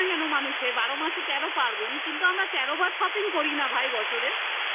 কেন মানুষে বারো মাসে তেরো পার্বন কিন্তু আমরা তেরো বার shopping করি না ভাই বছরে